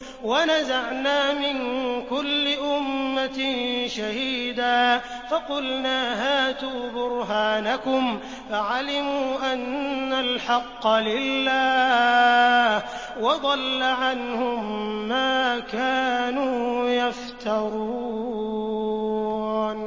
وَنَزَعْنَا مِن كُلِّ أُمَّةٍ شَهِيدًا فَقُلْنَا هَاتُوا بُرْهَانَكُمْ فَعَلِمُوا أَنَّ الْحَقَّ لِلَّهِ وَضَلَّ عَنْهُم مَّا كَانُوا يَفْتَرُونَ